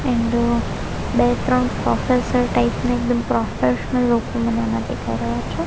And બે ત્રણ professor type ના એકદમ પ્રોફેશનલ લોકો મને આમા દેખાય રહ્યા છે.